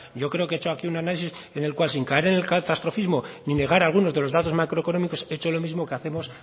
yo creo que he hecho aquí un análisis en el cual sin caer en el catastrofismo ni negar algunos de los datos macroeconómicos he hecho lo mismo que hacemos